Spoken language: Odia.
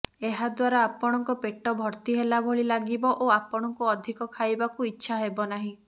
ଏହାଦ୍ୱାରା ଆପଣଙ୍କ ପେଟ ଭର୍ତ୍ତି ହେଲା ଭଳି ଲାଗିବ ଓ ଆପଣଙ୍କୁ ଅଧିକ ଖାଇବାକୁ ଇଚ୍ଛା ହେବ ନାହିଁ